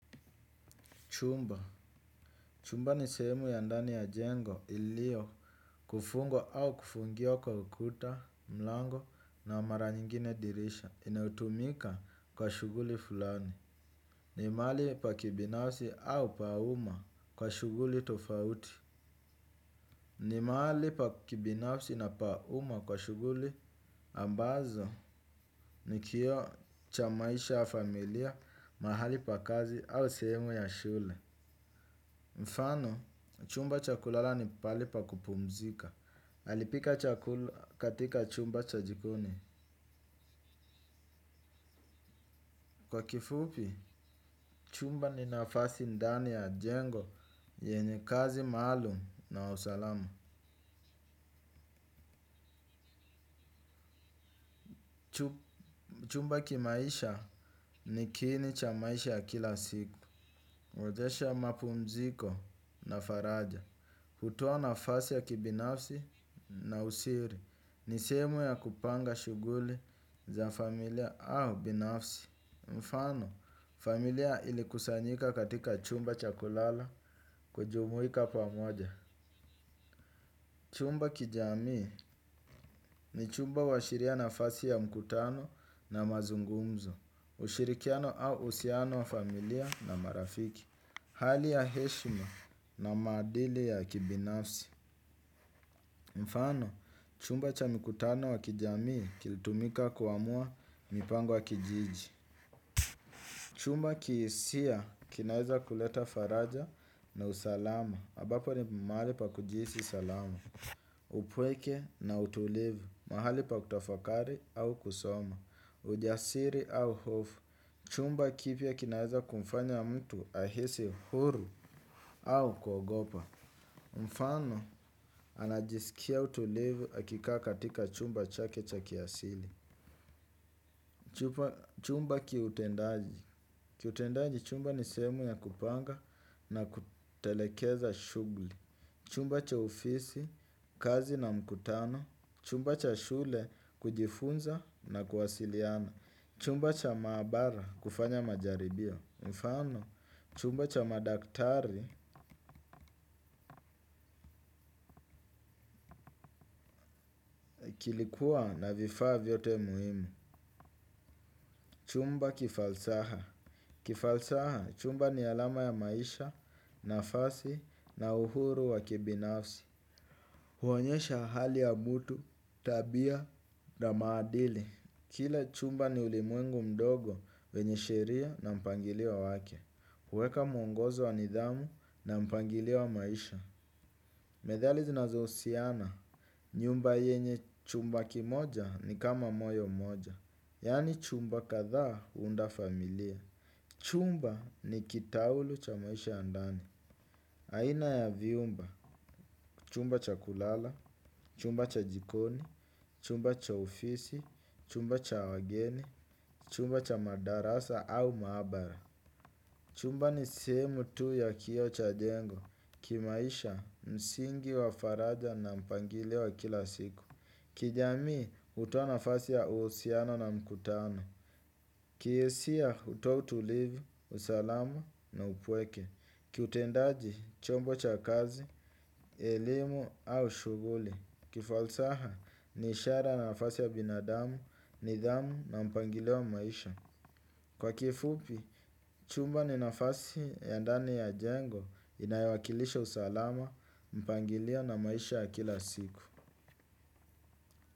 Chumba. Chumba ni sehemu ya ndani ya jengo iliokufungwa au kufungiwa kwa ukuta, mlango na mara nyingine dirisha. Inaotumika kwa shughuli fulani. Ni mahali pa kibinafsi au pa uma kwa shughuli tofauti. Ni mahali pa kibinafsi na pa uma kwa shughuli ambazo ni kioo cha maisha ya familia, mahali pa kazi au sehemu ya shule. Mfano, chumba cha kulala ni pahali pa kupumzika. Alipika chakula katika chumba cha jikoni. Kwa kifupi, chumba ni nafasi ndani ya jengo, yenye kazi maalum na usalama. Chumba kimaisha ni kiini cha maisha ya kila siku. Wezesha mapumziko na faraja. Hutoa nafasi ya kibinafsi na usiri. Ni sehemu ya kupanga shughuli za familia au binafsi. Mfano, familia ilikusanyika katika chumba cha kulala kujumuika pamoja. Chumba kijamii ni chumba huashiria nafasi ya mkutano na mazungumzo. Ushirikiano au uhusiano wa familia na marafiki hali ya heshima na maadili ya kibinafsi mfano, chumba cha mikutano wa kijamii kilitumika kuamua mipango ya kijiji. Chumba kihisia, kinaeza kuleta faraja na usalama ambapo ni mahali pa kujihisi salama. Upweke na utulivu, mahali pa kutafakari au kusoma ujasiri au hofu chumba kipya kinaeza kumfanya mtu ahisi huru au kugopa. Mfano, anajisikia utulivu akikaa katika chumba chake cha kiasili. Chumba kiutendaji kiutendaji chumba ni sehemu ya kupanga na kutelekeza shughuli. Chumba cha ofisi, kazi na mkutano chumba cha shule, kujifunza na kuwasiliana chumba cha mabara, kufanya majaribio mfano, chumba cha madaktari, kilikuwa na vifaa vyote muhimu. Chumba kifalsaha kifalsaha, chumba ni alama ya maisha, nafasi, na uhuru wa kibinafsi. Huonyesha hali ya mtu, tabia, na maadili. Kile chumba ni ulimwengu mdogo wenye sheria na mpangilio wake. Huweka mwongozo wa nidhamu na mpangilio wa maisha. Methali zinazohusiana nyumba yenye chumba kimoja ni kama moyo mmoja. Yaani chumba kadhaahuunda familia. Chumba ni kitaulu cha maisha ya ndani. Aina ya vyumba, chumba cha kulala, chumba cha jikoni, chumba cha ofisi, chumba cha wageni, chumba cha madarasa au maabara chumba ni sehemu tu ya kioo cha jengo, kimaisha msingi wa faraja na mpangilio wa kila siku. Kijamii hutoa nafasi ya uhusiano na mkutano. Kihisia hutoa utulivu, usalama na upweke. Kiutendaji, chombo cha kazi, elimu au shughuli kifalsaha, ni ishara na nafasi ya binadamu, nidhamu na mpangilio wa maisha. Kwa kifupi, chumba ni nafasi ya ndani ya jengo. Inayowakilisha usalama, mpangilio na maisha ya kila siku.